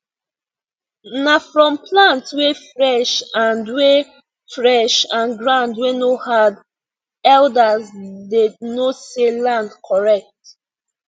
na from plant wey fresh and wey fresh and ground wey no hard elders dey know say land correct